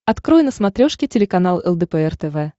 открой на смотрешке телеканал лдпр тв